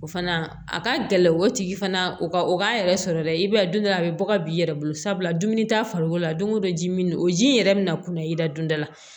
O fana a ka gɛlɛn o tigi fana o ka o k'a yɛrɛ sɔrɔ dɛ i b'a ye don dɔ a bɛ bɔ ka b'i yɛrɛ bolo sabula dumuni t'a farikolo la don o don ji min o ji in yɛrɛ bɛna kunnaya i da dun da la